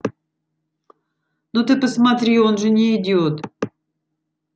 ну ты посмотри он же не идёт